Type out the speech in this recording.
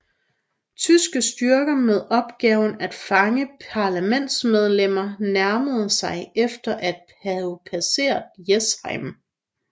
Tyske styrker med opgaven at fange parlamentsmedlemmer nærmede sig efter at have passeret Jessheim